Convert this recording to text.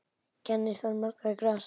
Kennir þar margra grasa.